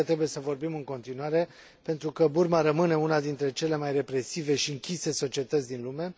Cred că trebuie să vorbim în continuare, pentru că Burma rămâne una dintre cele mai represive și închise societăți din lume.